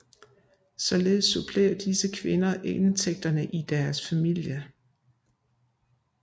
Således supplerer disse kvinder indtægterne i deres familie